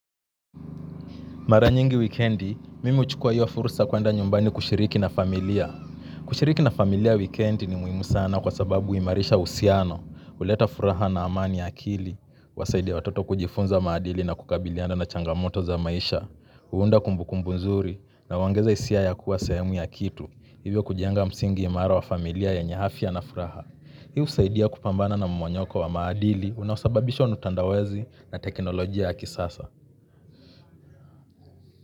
Mara nyingi weekendi, mimi huchukua hiyo fursa kuenda nyumbani kushiriki na familia. Kushiriki na familia wikiendi ni muhimu sana kwa sababu humarisha uhusiano, huleta furaha na amani ya akili, huwasaidia watoto kujifunza maadili na kukabilianda na changamoto za maisha, huunda kumbukumbu nzuri na huongeza hisia ya kuwa sehemu ya kitu, hivyo kujenga msingi imara wa familia ya yenye afya na furaha. Hii husaidia kupambana na mmomonyoko wa maadili unaosababishwa na utandawazi na teknolojia ya kisasa.